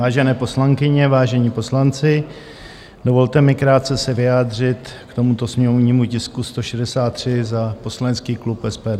Vážené poslankyně, vážení poslanci, dovolte mi krátce se vyjádřit k tomuto sněmovnímu tisku 163 za poslanecký klub SPD.